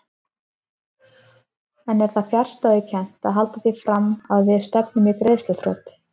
En er það fjarstæðukennt að halda því fram að við stefnum í greiðsluþrot?